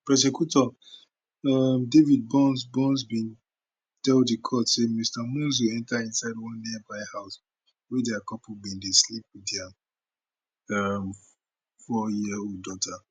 prosecutor um david burns burns bin tell di court say mr monzo enta inside one nearby house wia di couple bin dey sleep wit dia um four yearold daughter